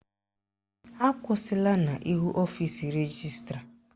Akwụsịla n'ihu ọfisi rejistra!